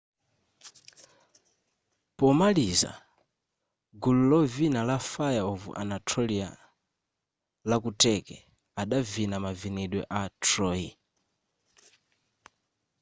pomaliza gulu lovina la fire of anatolia la kuturkey adavina mavinidwe a troy